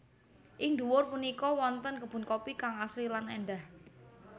Ing dhuwur punika wonten kebun kopi kang asri lan èndah